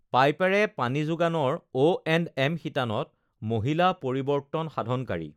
পাইপেৰে পানী যোগানৰ অএণ্ডএম শিতানত মহিলা পৰিৱৰ্তন সাধনকাৰী